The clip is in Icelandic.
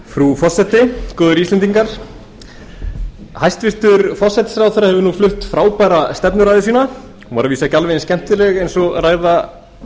frú forseti góði íslendingar hæstvirtur forsætisráðherra hefur ú flutt frábæra stefnuræðu sína hún var að vísu ekki alveg eins skemmtileg eins og ræða háttvirts þingmanns